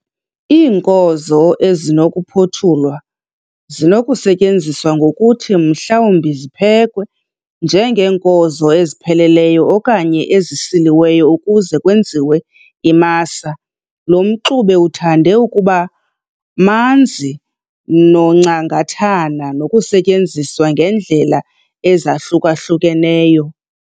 Iinkozo ezinokuphothulwa zinokusetyenziswa ngokuthi mhlawumbi ziphekwe njengeenkozo ezipheleleyo okanye ezisiliweyo ukuze kwenziwe imasa, lo mxube uthande ukuba manzi noncangathana unokusetyenziswa ngeendlela ezahluka-hlukeneyo.